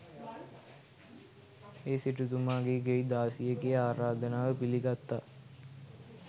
ඒ සිටුතුමාගේ ගෙයි දාසියගෙ ආරාධනාව පිළිගත්තා.